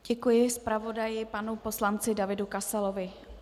Děkuji zpravodaji panu poslanci Davidu Kasalovi.